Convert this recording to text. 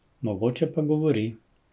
Mogoče pa govori.